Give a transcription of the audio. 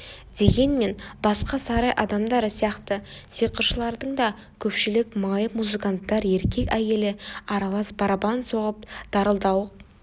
дегенмен басқа сарай адамдары сияқты сиқыршылардың да көпшілігі майып музыканттар еркек әйелі аралас барабан соғып дарылдауық